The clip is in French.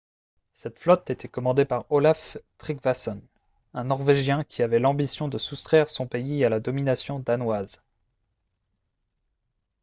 cette flotte était commandée par olaf trygvasson un norvégien qui avait l'ambition de soustraire son pays à la domination danoise